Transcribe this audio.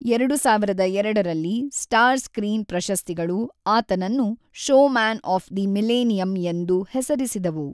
ಎರಡು ಸಾವಿರದ ಎರಡರಲ್ಲಿ ಸ್ಟಾರ್ ಸ್ಕ್ರೀನ್ ಪ್ರಶಸ್ತಿಗಳು ಆತನನ್ನು 'ಶೋಮ್ಯಾನ್ ಆಫ್ ದಿ ಮಿಲೇನಿಯಮ್' ಎಂದು ಹೆಸರಿಸಿದವು.